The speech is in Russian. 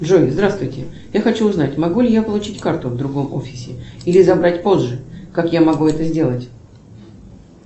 джой здравствуйте я хочу узнать могу ли я получить карту в другом офисе или забрать позже как я могу это сделать